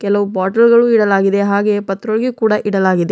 ಕೆಲವು ಬಾಟಲ್ ಗಳು ಇಡದಾಗಿದೆ ಹಾಗೇ ಪತ್ರೊಳಗೆ ಕೂಡ ಇಡಲಾಗಿದೆ.